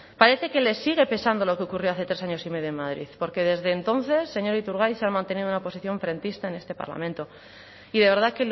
parece que les sigue pesando lo que ocurrió hace tres años y medio en madrid porque desde entonces señor iturgaiz se han mantenido en una posición frentista en este parlamento y de verdad